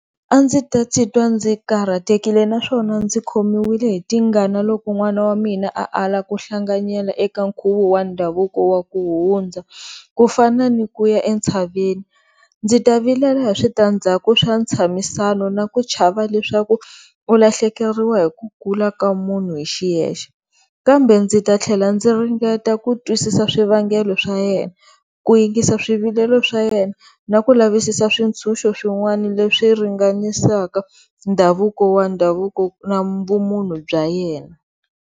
A ndzi ta titwa ndzi karhatekile naswona ndzi khomiwile hi tingana loko n'wana wa mina a ala ku hlanganyela eka nkhuvo wa ndhavuko wa ku hundza ku fana ni ku ya entshaveni, ndzi ta vilela hi switandzaku swa ntshamisano na ku chava leswaku u lahlekeriwa hi ku kula ka munhu hi xiyexe. Kambe ndzi ta tlhela ndzi ringeta ku twisisa swivangelo swa yena, ku yingisa swivilelo swa yena na ku lavisisa swintshuxo swin'wana leswi ringanisaka ndhavuko wa ndhavuko na vumunhu bya yena.